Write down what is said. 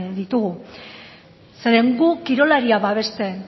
ditugu zeren gu kirolaria babesten